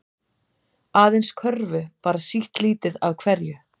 Aðeins körfu bara sitt lítið af hverju